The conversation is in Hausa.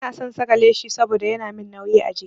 Ba na son saka leshi saboda yana min nauyi a jiki.